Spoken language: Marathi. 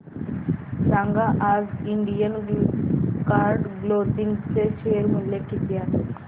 सांगा आज इंडियन कार्ड क्लोदिंग चे शेअर मूल्य किती आहे